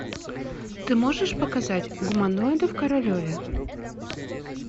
ты можешь показать гуманоиды в королеве